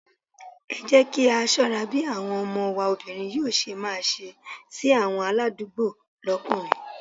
Ẹ jẹ́ kí á ṣọ́ra bí àwọn ọmọ wa obìnrin yóò ṣe máa ṣe sí àwọn aládùúgbò lókùnrin.